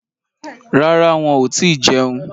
Rárá, wọn ò tíì jẹun.